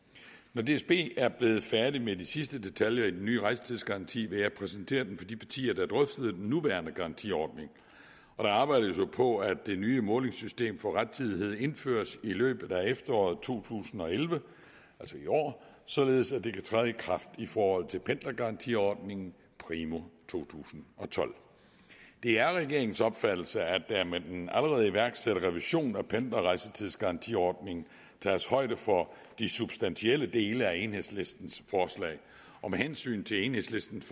når dsb er blevet færdig med de sidste detaljer i den nye rejsetidsgaranti vil jeg præsentere den for de partier der drøftede den nuværende garantiordning der arbejdes jo på at det nye målesystem for rettidighed indføres i løbet af efteråret to tusind og elleve altså i år således at det kan træde i kraft i forhold til pendlergarantiordningen primo to tusind og tolv det er regeringens opfattelse at der med den allerede iværksatte revision af pendlerejsetidsgarantiordningen tages højde for de substantielle dele af enhedslistens forslag og med hensyn til enhedslistens